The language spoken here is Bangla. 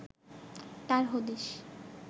তার হদিস